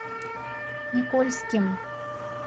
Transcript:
никольским